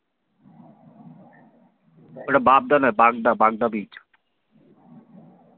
ওটা বাবদা নয় বাগদা বাগদা beach